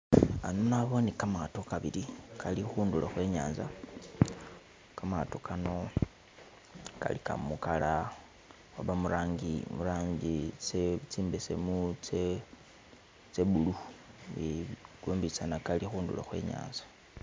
Ano nabone kamato kabili kali khundulo khwe nyanza, kamato kano kalika mu color oba murangi murangi imbesemu tse tse blue eh, kombi tsana kali khundulo khwe nyanza